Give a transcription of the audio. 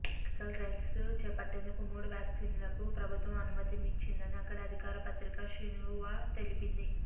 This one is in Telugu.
క్లినికల్ ట్రయల్స్ చేపట్టేందుకు మూడు వ్యాక్సిన్లకు ప్రభుత్వం అనుమతినిచ్చిందని అక్కడి అధికార పత్రిక షిన్హువా తెలిపింది